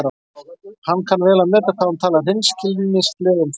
Hann kann vel að meta hvað hún talar hreinskilnislega um þetta.